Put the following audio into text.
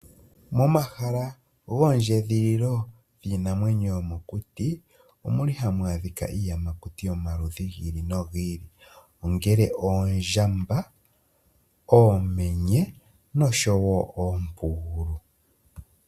Momahala goondjedhililo giinamwenyo yomokuti, omuli hamu adhika iiyamakuti yomaludhi giili nogiili ongele oondjamba oomenye noshowoo oompugulu .